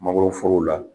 Mangoroforo la